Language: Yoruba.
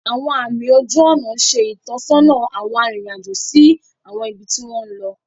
Awọn àmì ojú ònà ṣe itọsọna awọn aririn ajo si awọn ibi ti wọn lọ.